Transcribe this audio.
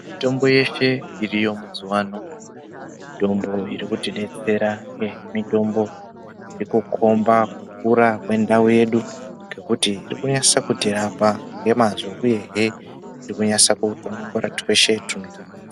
Mitombo yeshe iriyo mazuvano mitombo iri kutidetsera mitombo iri kukhomba kukura kwendau yedu ngekuti iri kunyaso kutirapa nemazvo uyehe iri kunyatsokudonongora tweshe twunorwadza.